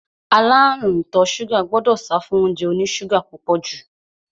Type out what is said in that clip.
Aláàrúùn ìtọ ṣúgà gbọdọ̀ sáfún óúnjẹ oní ṣúgà púpọ̀ jù.